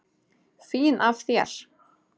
Fín af þér.